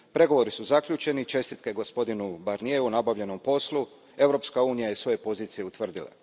Pregovori su zaključeni, čestitke gospodinu Barnieru na obavljenom poslu, Europska unija je svoje pozicije utvrdila.